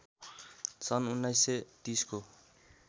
सन् १९३० को